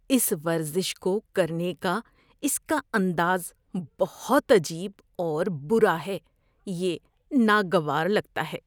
اس ورزش کو کرنے کا اس کا انداز بہت عجیب اور برا ہے، یہ ناگوار لگتا ہے۔